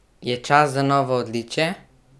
Je čas za novo odličje?